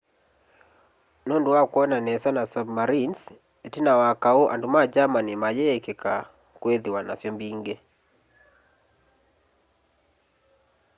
nundu wa kwona nesa na submarinezi itina wa kaũ andu ma germani mayiikika kwithiwa nasyo mbingi